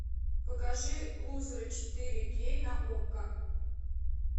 покажи лузеры четыре кей на окко